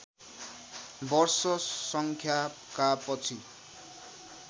वर्ष सङ्ख्याका पछि